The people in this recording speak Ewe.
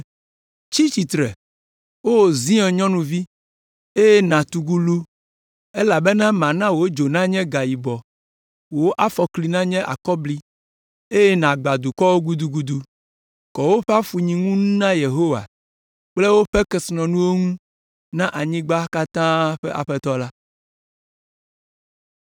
“Tsi tsitre, O Zion nyɔnuvi, eye nàtugu lu elabena mana wò dzo nanye gayibɔ, wò afɔkli nanye akɔbli eye nàgbã dukɔwo gudugudu.” Kɔ woƒe afunyinu ŋu na Yehowa kple woƒe kesinɔnuwo ŋu na anyigba katã ƒe Aƒetɔ la.